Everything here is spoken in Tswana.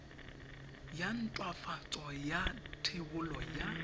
ya nthwafatso ya thebolo ya